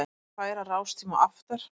Vill færa rástíma aftar